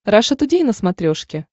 раша тудей на смотрешке